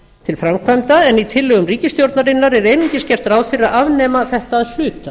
til framkvæmda en í tillögum ríkisstjórnarinnar er einungis gert ráð fyrir að afnema þetta að hluta